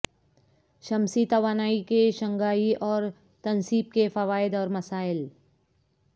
شمسی توانائی کے شنگھائی اور تنصیب کے فوائد اور مسائل